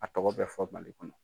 A tɔgɔ bɛ fɔ Mali kɔnɔ.